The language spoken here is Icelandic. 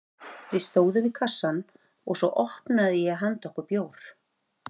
Við stóðum við kassann og svo opnaði ég handa okkur bjór.